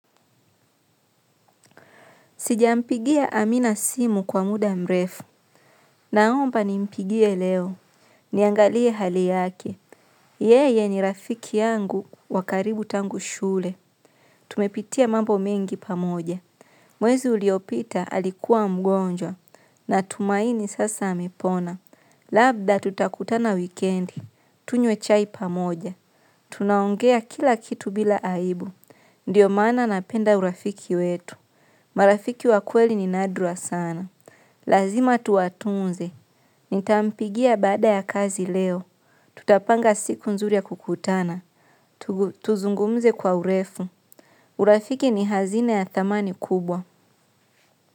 Sijampigia amina simu kwa muda mrefu. Naomba ni mpigie leo. Niangalie hali yake. Yeye ni rafiki yangu wa karibu tangu shule tumepitia mambo mengi pamoja. Mwezi uliopita alikuwa mgonjwa. Na tumaini sasa amepona. Labda tutakutana wikendi. Tunywe chai pamoja. Tunaongea kila kitu bila aibu. Ndiyo mana napenda urafiki wetu. Marafiki wakweli ni nadra sana. Lazima tuatunze. Nitampigia bada ya kazi leo. Tutapanga siku nzuri ya kukutana. Tuzungumze kwa urefu. Urafiki ni hazina ya thamani kubwa.